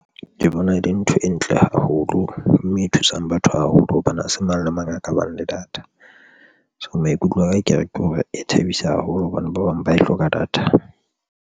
Ke bona e le ntho e ntle haholo mme e thusang batho haholo hobane ha se mang le mang a ka bang le data, so maikutlo aka ke re ke hore e thabisa haholo hobane ba bang ba e hloka data.